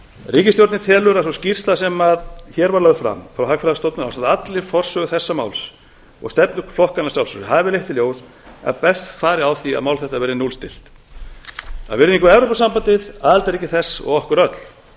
ríkisstjórnin telur að sú skýrsla sem hér var lögð fram frá hagfræðistofnun ásamt allri forsögu þessa máls og stefnu flokkanna að sjálfsögðu hafi leitt í ljós að best fari á því að mál þetta verði núllstillt af virðingu við evrópusambandið aðildarríki þess og okkur öll